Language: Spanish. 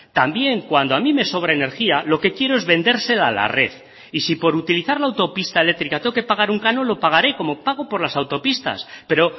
también cuando a mí me sobre energía lo que quiero es vendérsela a la red y si por utilizar la autopista eléctrica tengo que pagar un canon lo pagaré como pago por las autopistas pero